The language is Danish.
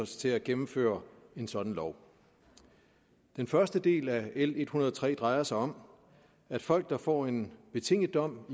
til at gennemføre en sådan lov den første del af l en hundrede og tre drejer sig om at folk der får en betinget dom